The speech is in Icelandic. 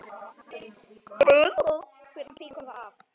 Hvenær fýkur það af?